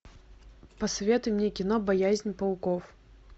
посоветуй мне кино боязнь пауков